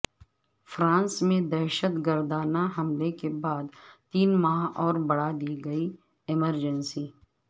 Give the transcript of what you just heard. France میں دہشت گردانہ حملے کے بعد تین ماہ اور بڑھا دی گئی ایمرجنسی